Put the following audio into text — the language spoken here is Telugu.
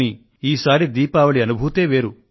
కానీ ఈసారి దీపావళి అనుభూతే వేరు